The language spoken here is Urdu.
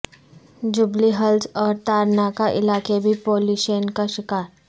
جوبلی ہلز اور تارناکہ علاقے بھی پولیوشن کا شکار